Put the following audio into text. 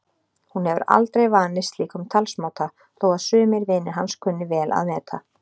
Hún hefur aldrei vanist slíkum talsmáta þó að sumir vinir hans kunni vel að meta.